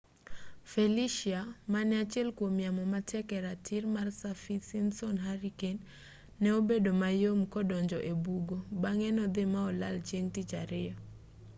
felicia mane achiel kuom yamo matek e ratil mar saffir simpson hurricane ne obedo mayom kodonjo ebugo bang'e nodhii ma olal chieng' tich ariyo